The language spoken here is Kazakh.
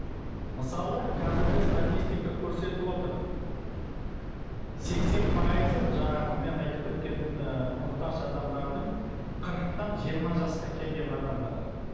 мысалы қазіргі статистика көрсетіп отыр сексен пайызы жаңағы мен айтып кеткен ы мұқтаж адамдардың қырықтан жиырма жасқа келген адамдар